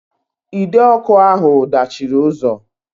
Ide ọkụ ahụ dachiri ụzọ